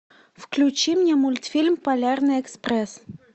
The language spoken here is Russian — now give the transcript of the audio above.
включи мне мультфильм полярный экспресс